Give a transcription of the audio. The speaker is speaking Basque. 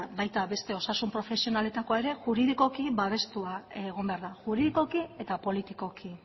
baita beste osasun profesionaletakoa ere juridikoki babestua egon behar da juridikoki eta politikoki